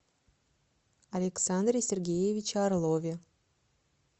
александре сергеевиче орлове